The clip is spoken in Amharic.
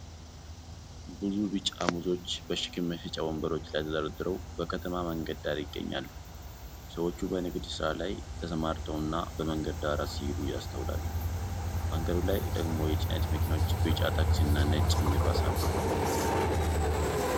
ብዙ ቢጫ ሙዞች በሸክም መሸጫ ወንበሮች ላይ ተደርድረው በከተማ መንገድ ዳር ይገኛሉ። ሰዎች በንግድ ሥራ ላይ ተሰማርተውና በመንገዱ ዳር ሲሄዱ ይስተዋላሉ። መንገዱ ላይ ደግሞ የጭነት መኪኖች፣ ቢጫ ታክሲና ነጭ ሚኒባስ አሉ።